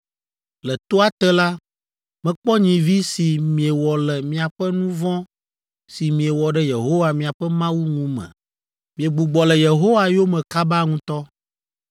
Le toa te la, mekpɔ nyivi si miewɔ le miaƒe nu vɔ̃ si miewɔ ɖe Yehowa miaƒe Mawu ŋu me. Miegbugbɔ le Yehowa yome kaba ŋutɔ!